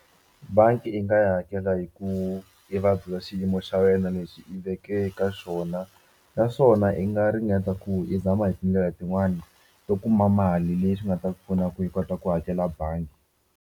Bangi i nga yi hakela hi ku i va byela xiyimo xa wena lexi i veke eka xona naswona i nga ringeta ku i zama hi tindlela tin'wani to kuma mali leyi swi nga ta pfuna ku hi kota ku hakela bangi.